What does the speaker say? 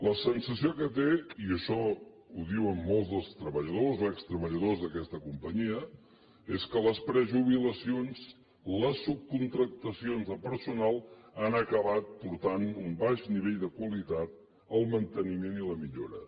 la sensació que té i això ho diuen molts dels treballadors o extreballadors d’aquesta companyia és que les prejubilacions les subcontractacions de personal han acabat portant un baix nivell de qualitat al manteniment i la millora